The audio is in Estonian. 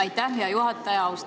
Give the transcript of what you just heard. Aitäh, hea juhataja!